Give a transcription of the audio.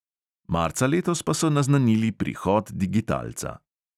Marca letos pa so naznanili prihod digitalca.